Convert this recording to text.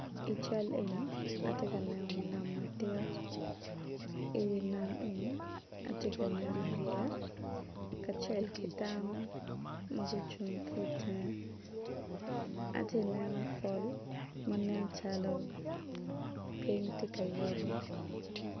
I cal eni atye ka neno nam madit i wi nam eni atye ka neno yeya kacel ki dano ma gucung ki tenge atye ka neno pol man nen calo piny tye ka yuto.